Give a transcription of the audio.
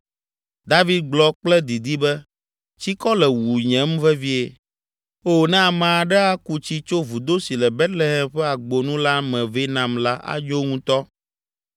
David gblɔ kple didi be, “Tsikɔ le wunyem vevie. Oo, ne ame aɖe aku tsi tso vudo si le Betlehem ƒe agbonu la me vɛ nam la anyo ŋutɔ.”